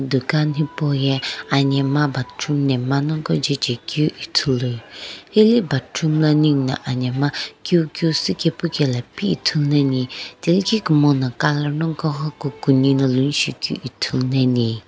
dukan hipou ye bathroom nemgha naghoko jaejae keu ithulu heye bathroom lo nigho na anemgha keu keu shiipae kae pu kae la pi ithulu ane thilki kumono colour nagho kukuni na Ithulu ni.